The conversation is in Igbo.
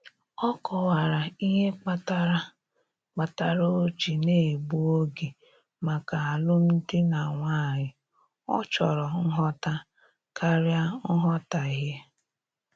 Ọ kọwara ihe kpatara kpatara o ji na-egbu oge maka alụm di na nwanyị, ọ chọrọ nghọta karịa nghọtahie